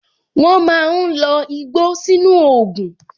Wọn máa ń lo igbó sínú ògùn